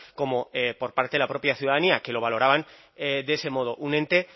como por parte de la propia ciudadanía que lo valoraban de ese modo un ente